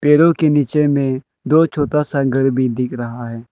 पेड़ों के नीचे में दो छोटा सा घर भी दिख रहा है।